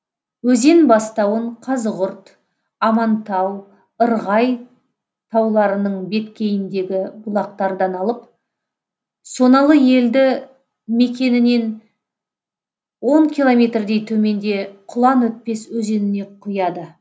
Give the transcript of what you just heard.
өзен бастауын қазығұрт амантау ырғай тауларының беткейіндегі бұлақтардан алып соналы елді мекенінен он километрдей төменде құланөтпес өзеніне құяды